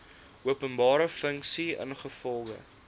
openbare funksie ingevolge